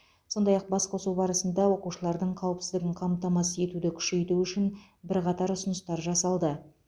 сондай ақ басқосу барысында оқушылардың қауіпсіздігін қамтамасыз етуді күшейту үшін бірқатар ұсыныстар жасалды